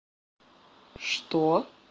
что